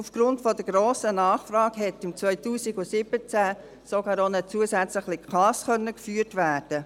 Aufgrund der grossen Nachfrage konnte im Jahr 2017 sogar eine zusätzliche Klasse geführt werden.